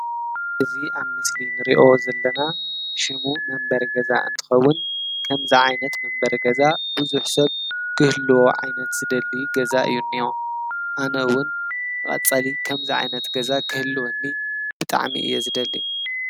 እዚ ኣብ ምስሊ እንሪኦ ዘለና ሽሙ መንበሪ ገዛ እንትከውን ከምዚ ዓይነት ገዛ ብዙሕ ሰብ ክህልዎ ዓይነት ዝደሊ ገዛ እዩ ዝኒሀ፡፡ ኣነ እውን ንቀፃሊ ከምዚ ዓይነት ገዛ ክህልወኒ ብጣዕሚ እየ ዝደሊ፡፡